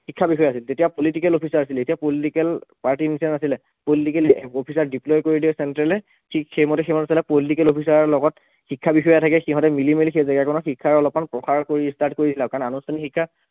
শিক্ষাবিষয়া আছিল তেতিয়া political officer আছিল এতিয়া political party ৰ নিচিনা নাছিলে political officer ক deploy কৰি দিয়ে central এ ঠিক সেইমতে সেইমতে চলা political officer ৰ লগত শিক্ষাবিষয়া থাকে সিহঁতি মিলিমেলি সেই জাগাকণত শিক্ষাৰ অলপ মান প্ৰসাৰ কৰি start কৰি দিয়ে কাৰণ আনুষ্ঠানিক শিক্ষা